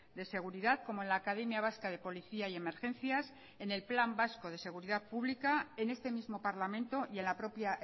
de seguridad como en la academia vasca de policía y emergencias en el plan vasco de seguridad pública en este mismo parlamento y en la propia